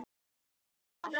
Tvö á ferð í bílnum okkar.